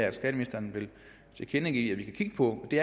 at skatteministeren vil tilkendegive at vi kan kigge på det